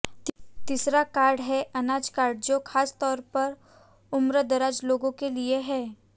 तीसरा कार्ड है अनाज कार्ड जो खास तौर पर उम्रदराज लोगों के लिए है